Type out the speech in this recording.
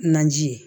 Naji ye